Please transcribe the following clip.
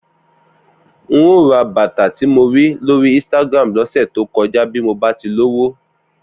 N óò ra bàtà tí mo rí lórí Instagram lọ́sẹ̀ tó kọjá bí mo bá ti lówó